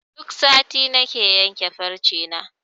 Duk sati nake yanke farce na.